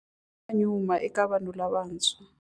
Wa nyuma eka vanhu lavantshwa.